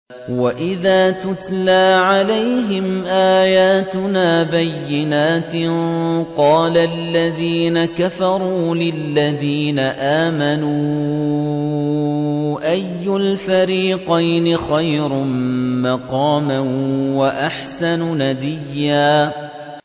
وَإِذَا تُتْلَىٰ عَلَيْهِمْ آيَاتُنَا بَيِّنَاتٍ قَالَ الَّذِينَ كَفَرُوا لِلَّذِينَ آمَنُوا أَيُّ الْفَرِيقَيْنِ خَيْرٌ مَّقَامًا وَأَحْسَنُ نَدِيًّا